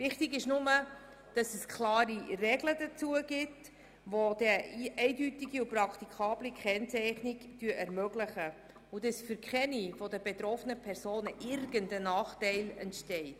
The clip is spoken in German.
Wichtig ist nur, dass es dazu klare Regeln gibt, die eine eindeutige und praktikable Kennzeichnung ermöglichen und dass dadurch für keine der betroffenen Personen irgendein Nachteil entsteht.